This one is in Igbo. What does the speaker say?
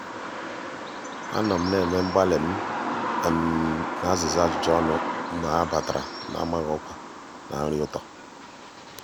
anọ m na-eme mgbatị um na azịza ajụjụ ọnụ mgbe ha batara na-amaghị ọkwa na nri ụtọ.